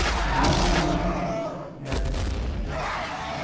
Um casal. Um homem e uma mulher.